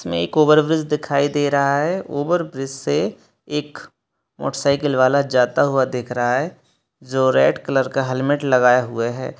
इसमे इक ओवरब्रिज दिखाई दे रहा है ओवरब्रिज से एक मोटरसाइकिल वाला जाता हुआ दिख रहा है जो रेड कालर का हेलमेट लागये हुए है।